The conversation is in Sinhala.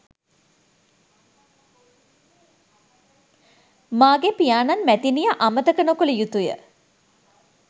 මාගේ පියාණන් මැතිනිය අමතක නොකළ යුතුය